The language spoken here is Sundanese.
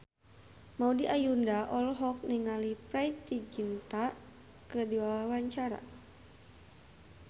Maudy Ayunda olohok ningali Preity Zinta keur diwawancara